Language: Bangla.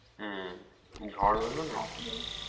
হম ঝড় হলো না